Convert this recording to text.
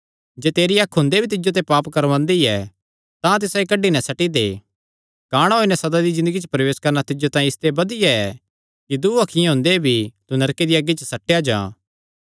जे तेरी अख हुंदे भी तिज्जो ते पाप करवांदी ऐ तां तिसायो कड्डी नैं सट्टी दे काणा होई नैं सदा दी ज़िन्दगिया च प्रवेश करणा तिज्जो तांई इसते बधिया ऐ कि दूँ अखीं हुंदेया भी तू नरके दिया अग्गी च सट्टेया जां